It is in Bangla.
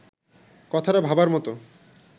কথাটা ভাবার মতো